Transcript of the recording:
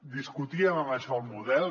discutíem amb això el model